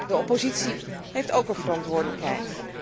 De oppositie heeft ook een verantwoordelijkheid.